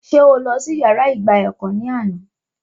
Sé o lọ sí yàrá ìgba ẹ̀kọ́ ní àná?